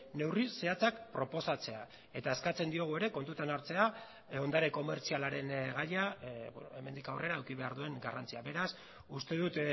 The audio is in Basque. neurri zehatzak proposatzea eta eskatzen diogu ere kontutan hartzea ondare komertzialaren gaia hemendik aurrera eduki behar duen garrantzia beraz uste dut